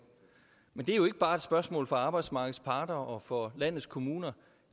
men det er jo ikke bare et spørgsmål for arbejdsmarkedets parter og for landets kommuner